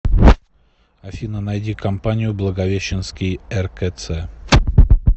афина найди компанию благовещенский ркц